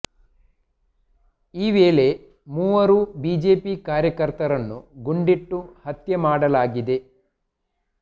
ಈ ವೇಳೆ ಮೂವರು ಬಿಜೆಪಿ ಕಾರ್ಯಕರ್ತರನ್ನು ಗುಂಡಿಟ್ಟು ಹತ್ಯೆ ಮಾಡಲಾಗಿದೆ